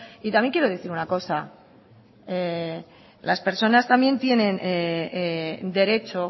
y también quiero decir una cosa las personas también tienen derecho